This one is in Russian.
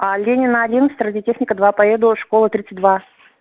а ленина одиннадцать радиотехника два поеду школа тридцать два